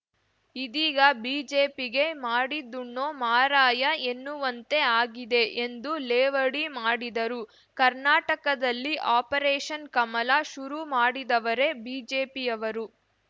ಇದೀಗ ಬಿಜೆಪಿಗೆ ಮಾಡಿದ್ದುಣ್ಣೋ ಮಾರಾಯ ಎನ್ನುವಂತೆ ಆಗಿದೆ ಎಂದು ಲೇವಡಿ ಮಾಡಿದರು ಕರ್ನಾಟಕದಲ್ಲಿ ಆಪರೇಷನ್‌ ಕಮಲ ಶುರು ಮಾಡಿದವರೇ ಬಿಜೆಪಿಯವರು